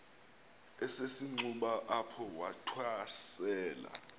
esisenxuba apho wathwasela